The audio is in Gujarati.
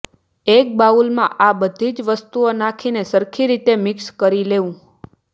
એક બાઉલમાં આ બધી જ વસ્તુઓ નાખીને સરખી રીતે મિક્સ કરી લેવું